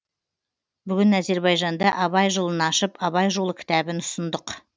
бүгін әзербайжанда абай жылын ашып абай жолы кітабын ұсындық